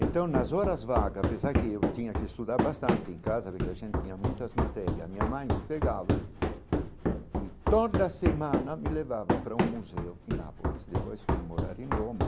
Então, nas horas vagas, apesar que eu tinha que estudar bastante em casa, porque a gente tinha muitas matérias, a minha mãe me pegava, e toda semana me levava para um museu em Nápoles, depois foi morar em Roma.